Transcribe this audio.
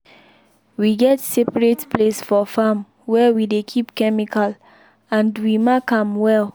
we get separate place for farm where we dey keep chemical and we mark am well.